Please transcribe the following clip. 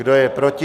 Kdo je proti?